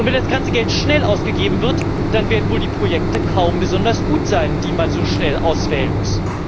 Und wenn das ganze Geld schnell ausgegeben wird, dann werden wohl die Projekte kaum besonders gut sein, die man so schnell auswählen muss.